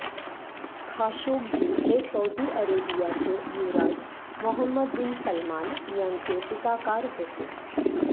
Khashoggi हे Saudi अरेबियाचे युवराज मोहम्मद बिन सलमान यांचे टीकाकार होते